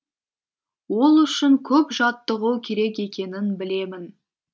ол үшін көп жаттығу керек екенін білемін